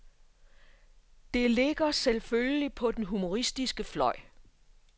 Det ligger selvfølgelig på den humoristiske fløj.